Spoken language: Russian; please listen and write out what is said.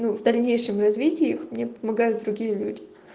ну в дальнейшем развитиях мне помогают другие люди